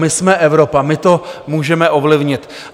My jsme Evropa, my to můžeme ovlivnit.